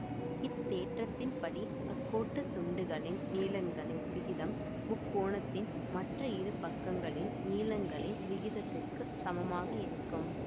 இத்தேற்றத்தின்படி அக்கோட்டுத் துண்டுகளின் நீளங்களின் விகிதம் முக்கோணத்தின் மற்ற இரு பக்கங்களின் நீளங்களின் விகிதத்திற்கு சமமாக இருக்கும்